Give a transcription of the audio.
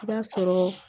I b'a sɔrɔ